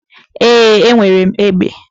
Ee, enwere m egbe.